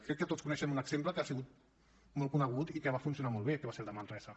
crec que tots coneixem un exemple que ha sigut molt conegut i que va funcionar molt bé que va ser el de manresa